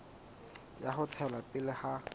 ya ho tswela pele ha